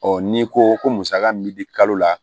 n'i ko ko musaka min bɛ di kalo la